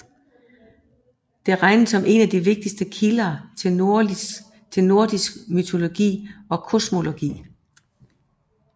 Det regnes som en af de vigtigste kilder til nordisk mytologi og kosmologi